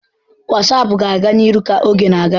WhatsApp ga-aga n'ihu ka oge na-aga.